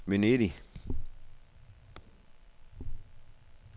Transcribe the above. Venedig